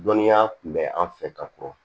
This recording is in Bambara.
Dɔnniya tun bɛ an fɛ ka kɔrɔ